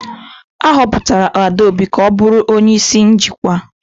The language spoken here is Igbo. A họpụtara Adaobi ka ọ bụrụ onye isi njikwa.